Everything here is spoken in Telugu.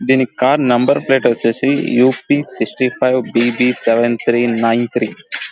దీని కార్ నెంబర్ ప్లేట్ వచ్చేసి U P sixty five B B seven three nine three .